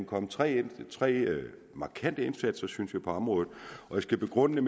kommet tre tre markante indsatser synes jeg på området jeg skal begrunde det